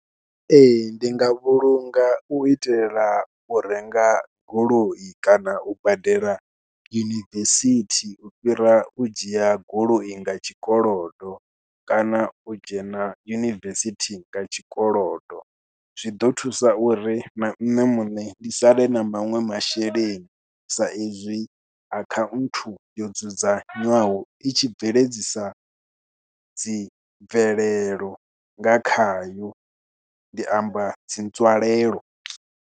Ee, ndi nga vhulunga u itela u renga goloi kana u badela university, u fhira u dzhia goloi nga tshikolodo, kana u dzhena yunivesithi nga tshikolodo. Zwi ḓo thusa uri na nṋe muṋe ndi sale na manwe masheleni, sa ezwi akhanthu yo dzudzanywaho i tshi bveledzisa dzi bvelelo nga khayo. Ndi amba dzi nzwalelo.